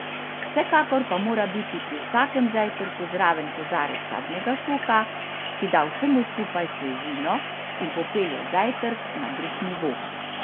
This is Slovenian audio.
Vsekakor pa mora biti pri vsakem zajtrku zraven kozarec sadnega soka, ki da vsemu skupaj svežino in popelje zajtrk na drug nivo.